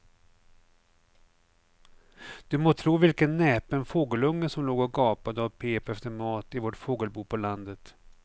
Du må tro vilken näpen fågelunge som låg och gapade och pep efter mat i vårt fågelbo på landet.